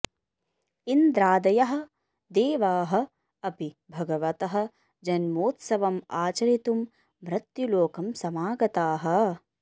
इन्द्रादयः देवाः अपि भगवतः जन्मोत्सवम् आचरितुं मृत्युलोकं समागताः